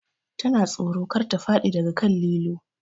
Ta na tsoro kar ta faɗi daga kan lilo